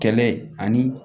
Kɛlɛ ani